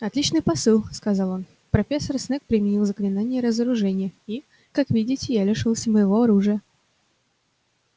отличный посыл сказал он профессор снегг применил заклинание разоружения и как видите я лишился моего оружия